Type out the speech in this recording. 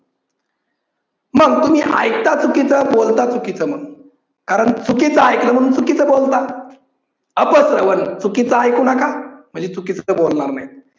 मग तुम्ही ऐकता चुकीच, बोलता चुकीच मग. कारण चुकीच ऐकलं म्हणून चुकीच बोलता. अप श्रवण, चुकीच ऐकू नका म्हणजे चुकीच बोलणार नाही.